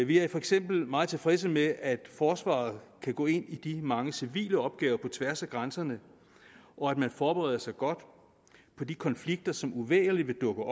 vi er for eksempel meget tilfredse med at forsvaret kan gå ind i de mange civile opgaver på tværs af grænserne og at man forbereder sig godt på de konflikter som uvægerligt vil dukke